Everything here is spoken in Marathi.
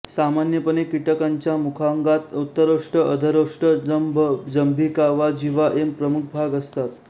सामान्यपणे कीटकंच्या मुखांगात उत्तरोष्ठ अधरोष्ठ जंभ जंभिका वा जिव्हा हे प्रमुख भाग असतात